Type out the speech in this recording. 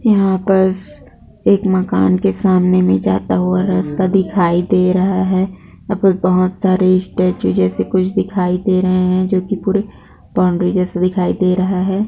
यहाँ पर एक मकान के सामने में जाता हुआ रास्ता दिखाई दे रहा है वहाँ पर बहुत सारे स्टैचू जैसे कुछ दिखाई दे रहे हैं जो की पूरे बाउंड्री जैसा दिखाई दे रहा है।